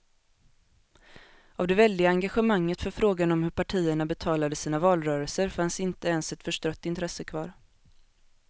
Av det väldiga engagemanget för frågan om hur partierna betalade sina valrörelser fanns inte ens ett förstrött intresse kvar.